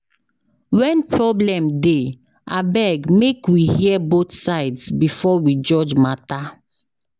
When problem dey, abeg make we hear both sides before we judge matter.